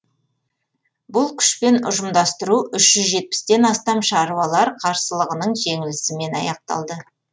бұл күшпен ұжымдастыру үш жүз жетпістен астам шаруалар қарсылығының жеңілісімен аяқталды